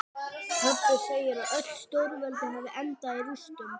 Pabbi segir að öll stórveldi hafi endað í rústum.